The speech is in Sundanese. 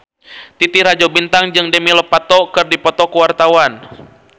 Titi Rajo Bintang jeung Demi Lovato keur dipoto ku wartawan